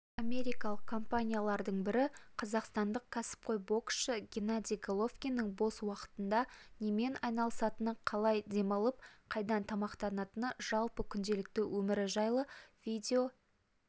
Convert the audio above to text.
америкалық компаниялардың бірі қазақстандық кәсіпқой боксшы геннадий головкиннің бос уақытында немен айналысатыны қалай демалып қайдан тамақтанатыны жалпы күнделікті өмірі жайлы видео